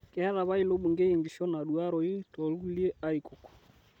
Keeta apa ilo bungei enkishon naaduaroi too lkulie arikok